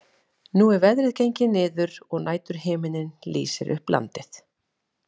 Nú er veðrið gengið niður og næturhiminninn lýsir upp landið.